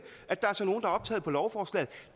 at de er optaget på lovforslaget